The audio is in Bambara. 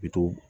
Bitɔn